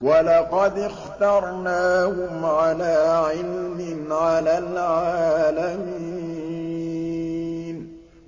وَلَقَدِ اخْتَرْنَاهُمْ عَلَىٰ عِلْمٍ عَلَى الْعَالَمِينَ